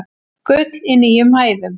Gull í nýjum hæðum